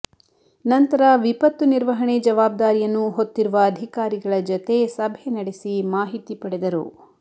ನಂತರ ವಿಪತ್ತು ನಿರ್ವಹಣೆ ಜವಾಬ್ದಾರಿಯನ್ನು ಹೊತ್ತಿರುವ ಅಧಿಕಾರಿಗಳ ಜತೆ ಸಭೆ ನಡೆಸಿ ಮಾಹಿತಿ ಪಡೆದರು